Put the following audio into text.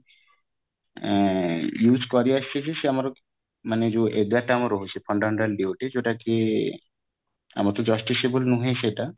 ଆଁ ସେ ଆମର ମାନେ ଯୋଉ ଏଗାରଟା ଆମର ରହୁଛବି fundamental duties ଯୋଉଟା କି ଆମର ତ justiciable ନୁହେଁ ସେଇଟା